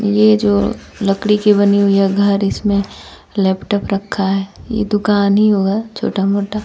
ये जो लकड़ी की बनी हुई है घर इसमें लैपटॉप रखा है ये दुकान ही होगा छोटा मोटा--